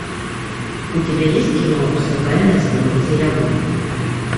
у тебя есть кино все тайное становится явным